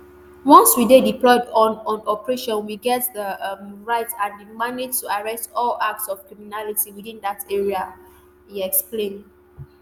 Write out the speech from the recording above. once we dey deployed on on operation we get di um right and di mandate to arrest all acts of criminality within dat area um e explain